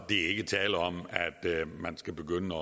ikke tale om at man skal begynde